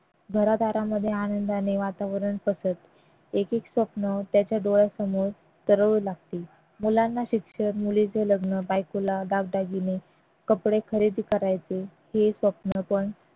घरादारामध्ये आनंदाने वातावरण तसेच एक एक स्वप्न त्याच्या डोळ्यासमोर तरळू लागते मुलांना शिक्षण मुलीच लग्न बायकोला दागदागिने कपडे खरेदी करायचे हे स्वप्न पण